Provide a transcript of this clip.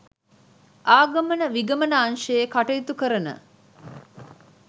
ආගමන විගමන අංශයේ කටයුතු කරන